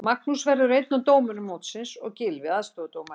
Magnús verður einn af dómurum mótsins og Gylfi aðstoðardómari.